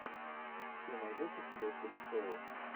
ты найдешь у себя телешоу